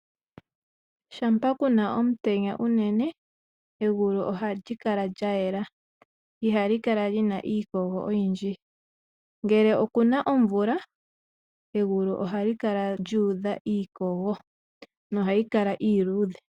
Shampa ku na omutenya unene ,egulu ohali kala lya yela. Ihali kala li na iikogo oyindji. Ngele oku na omvula egulu ohali kala lyuudha iikogo nohayi kala iiludhe.